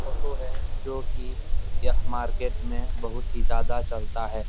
Auto है जोकि यह मार्केट में बहुत ही ज्यादा चलता है।